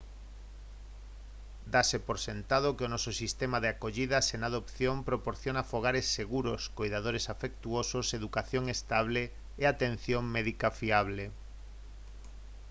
dáse por sentado que o noso sistema de acollida sen adopción proporciona fogares seguros coidadores afectuosos educación estable e atención médica fiable